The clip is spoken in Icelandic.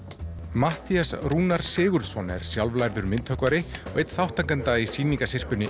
Matthías Sigurðsson er sjálflærður myndhöggvari og einn þátttakenda í